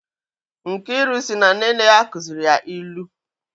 Nkiru si na nne nne ya kuzịrị ya ilu